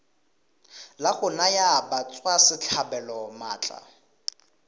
la go naya batswasetlhabelo maatla